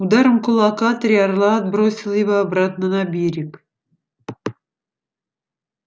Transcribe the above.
ударом кулака три орла отбросил его обратно на берег